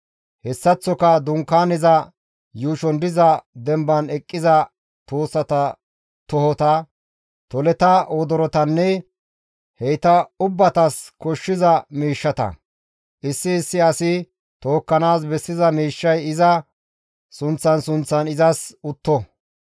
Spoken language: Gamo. Hessaththoka Dunkaaneza yuushon diza demban eqqiza tuussata tohota; toleta wodorotanne heyta ubbatas koshshiza miishshata; issi issi asi tookkanaas bessiza miishshay iza sunththan sunththan izas utto.